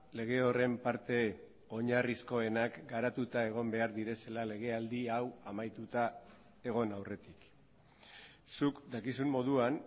lege horren parte oinarrizkoenak garatuta egon behar direla legealdi hau amaituta egon aurretik zuk dakizun moduan